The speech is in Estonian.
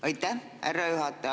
Aitäh, härra juhataja!